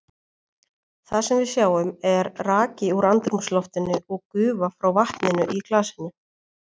Það sem við sjáum er raki úr andrúmsloftinu og gufa frá vatninu í glasinu.